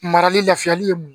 Marali lafiyali ye